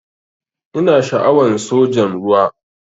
Ina sha'awan sojan ruwa.